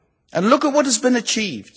And look at what has been achieved!